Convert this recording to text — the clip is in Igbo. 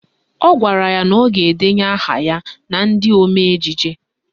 Ọ gwara ya na ọ ga-edenye aha ya na ndị omee ejije